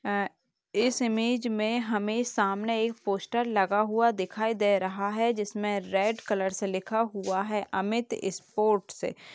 आ इस इमेज में हमे सामने एक पोस्टर लगा हुआ दिखाई दे रहा है जिसमे रेड कलर से लिखा हुआ है अमित स्पोर्ट अ --